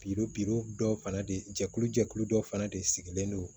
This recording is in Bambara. dɔw fana de jɛkulu jɛkulu dɔ fana de sigilen don